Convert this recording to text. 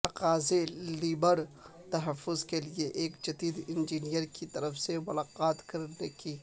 تقاضے لیبر تحفظ کے لئے ایک جدید انجینئر کی طرف سے ملاقات کرنے کی